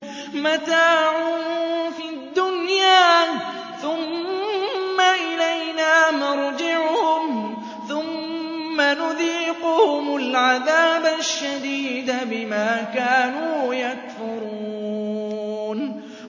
مَتَاعٌ فِي الدُّنْيَا ثُمَّ إِلَيْنَا مَرْجِعُهُمْ ثُمَّ نُذِيقُهُمُ الْعَذَابَ الشَّدِيدَ بِمَا كَانُوا يَكْفُرُونَ